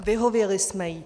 Vyhověli jsme jí.